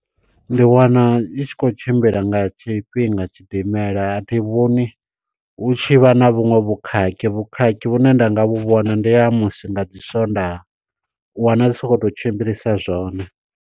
Ndi wana i tshi khou tshimbila nga tshifhinga tshidimela a thi vhoni hu tshi vha na vhuṅwe vhukhakhi, vhukhakhi vhune nda nga vhu vhona ndi ha musi nga dzi swondaha u wana dzi sa khou tou tshimbilisa zwone.